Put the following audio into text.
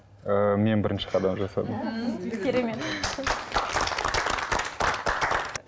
ы мен бірінші қадам жасадым м керемет